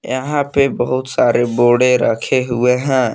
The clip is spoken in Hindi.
यहां पे बहुत सारे बोड़े रखे हुए हैं।